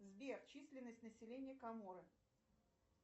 сбер численность населения коморы